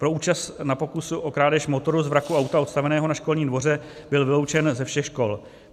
Po účasti na pokusu o krádež motoru z vraku auta odstaveného na školním dvoře byl vyloučen ze všech škol.